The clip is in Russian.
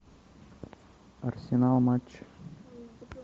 арсенал матч